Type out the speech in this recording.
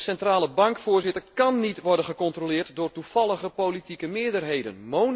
Een centrale bank, Voorzitter, kan niet worden gecontroleerd door toevallige politieke meerderheden.